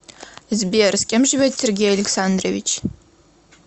сбер с кем живет сергей александрович